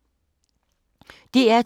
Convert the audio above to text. DR2